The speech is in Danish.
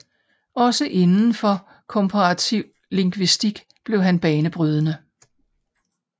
Også inden for komparativ lingvistik blev han banebrydende